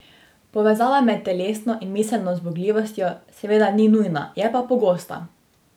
Povezava med telesno in miselno zmogljivostjo seveda ni nujna, je pa pogosta.